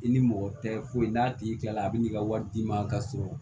I ni mɔgɔ tɛ foyi n'a tigi tila a bɛ n'i ka wari d'i ma k'a sɔrɔ